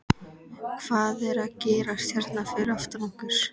Hvað er að gerast hérna fyrir aftan okkur?